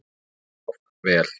Of vel.